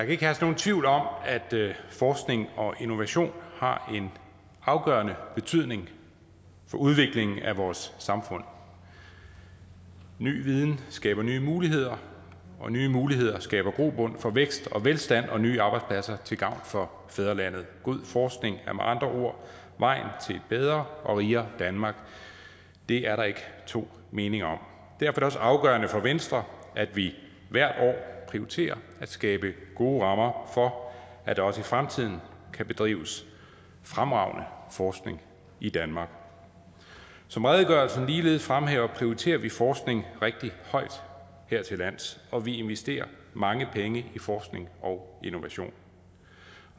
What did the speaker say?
ikke herske nogen tvivl om at forskning og innovation har en afgørende betydning for udviklingen af vores samfund ny viden skaber nye muligheder og nye muligheder skaber grobund for vækst og velstand og nye arbejdspladser til gavn for fædrelandet god forskning er med andre ord vejen til et bedre og rigere danmark det er der ikke to meninger om derfor er det også afgørende for venstre at vi hvert år prioriterer at skabe gode rammer for at der også i fremtiden kan bedrives fremragende forskning i danmark som redegørelsen ligeledes fremhæver prioriterer vi forskning rigtig højt her til lands og vi investerer mange penge i forskning og innovation